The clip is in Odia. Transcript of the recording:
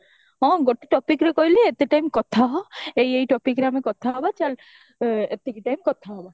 ହଁ ଗୋଟେ topicର କହିଲେ ଏତେ ଟାଇମ କଥା ହ ଏଇ ଏଇ topicରେ ଆମେ କଥା ହବ ଚାଲ ଏତିକି time କଥା ହବା